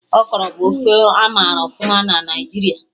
Okro bụ ofe amara ọfụma na Naijiria